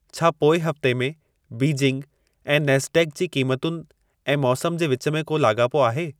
छा पोइ हफ़्ते में बीजिंग ऐं नैस्डैक़ जी क़ीमतुनि ऐं मौसम जे विच में को लाॻापो आहे